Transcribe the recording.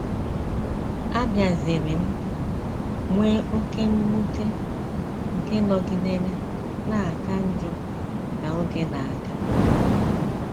Abịaziri m nwee oké mwute nke nọgidere na - aka njọ ka oge na - aga.